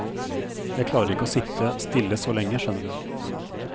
Jeg klarer ikke å sitte stille så lenge, skjønner du.